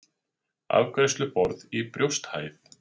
Afgreiðsluborð í brjósthæð.